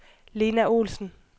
Lena Olsen